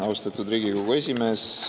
Austatud Riigikogu esimees!